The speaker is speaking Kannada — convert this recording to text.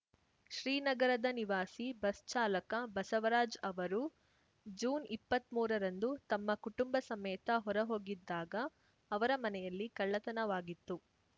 ಶ್ರೀನಗರದ ನಿವಾಸಿ ಬಸ್‌ ಚಾಲಕ ಬಸವರಾಜ್‌ ಅವರು ಜೂನ್ಇಪ್ಪತ್ತ್ಮೂರ ರಂದು ತಮ್ಮ ಕುಟುಂಬ ಸಮೇತ ಹೊರ ಹೋಗಿದ್ದಾಗ ಅವರ ಮನೆಯಲ್ಲಿ ಕಳ್ಳತನವಾಗಿತ್ತು